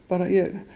ég